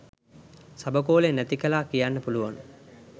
සබකෝලය නැති කළා කියන්න පුළුවන්.